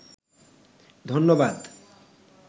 ধন্যবাদ